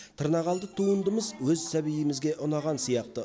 тырнақалды туындымыз өз сәбиімізге ұнаған сияқты